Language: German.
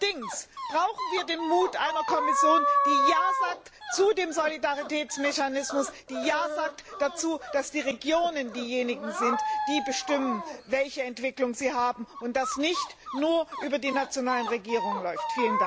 Allerdings brauchen wir den Mut einer Kommission die Ja sagt zu dem Solidaritätsmechanismus, die Ja sagt dazu, dass die Regionen diejenigen sind, die bestimmen, welche Entwicklung sie nehmen, und dass das nicht nur über die nationalen Regierungen läuft.